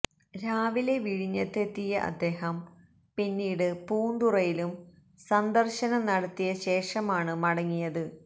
രാവിലെ വിഴിഞ്ഞത്ത് എത്തിയ അദ്ദേഹം പിന്നീട് പൂന്തുറയിലും സന്ദര്ശനം നടത്തിയ ശേഷമാണ് മടങ്ങിയത്